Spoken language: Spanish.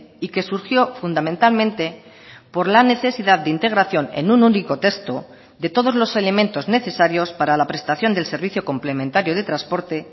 y que surgió fundamentalmente por la necesidad de integración en un único texto de todos los elementos necesarios para la prestación del servicio complementario de transporte